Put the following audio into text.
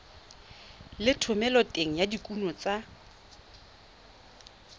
le thomeloteng ya dikuno tsa